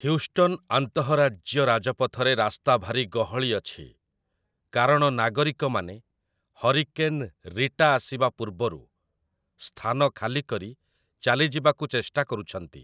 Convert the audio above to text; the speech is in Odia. ହ୍ୟୁଷ୍ଟନ୍ ଆନ୍ତଃରାଜ୍ୟ ରାଜପଥରେ ରାସ୍ତା ଭାରି ଗହଳି ଅଛି, କାରଣ ନାଗରିକମାନେ ହରିକେନ୍ 'ରୀଟା' ଆସିବା ପୂର୍ବରୁ ସ୍ଥାନ ଖାଲି କରି ଚାଲିଯିବାକୁ ଚେଷ୍ଟା କରୁଛନ୍ତି ।